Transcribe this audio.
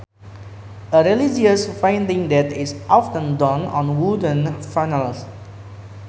A religious painting that is often done on wooden panels